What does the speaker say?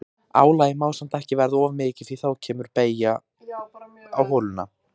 Álagið má samt ekki verða of mikið því að þá kemur beygja á holuna.